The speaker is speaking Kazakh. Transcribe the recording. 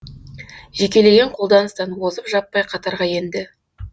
жекелеген қолданыстан озып жаппай қатарға енді